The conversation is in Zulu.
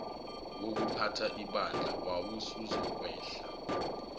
wokuphatha ibandla wawusuzokwehla